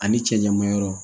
Ani cɛ ɲaman yɔrɔ